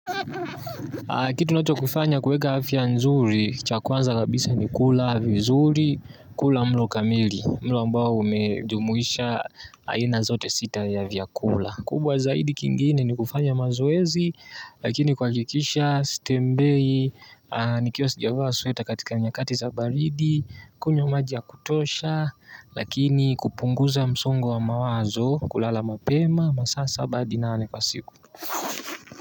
Kitu nachokifanya kuweka afya nzuri, cha kwanza kabisa ni kula vizuri, kula mlo kamili, mlo ambao umejumuisha aina zote sita ya vyakula. Kubwa zaidi kingine ni kufanya mazoezi, lakini kuhakikisha sitembei, nikiwa sijavaa sweta katika nyakati za baridi, kunywa maji ya kutosha, lakini kupunguza msongo wa mawazo, kulala mapema, masaa saba hadi nane kwa siku.